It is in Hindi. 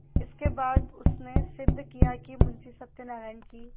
इसके बाद उसने सिद्ध किया कि मुंशी सत्यनारायण की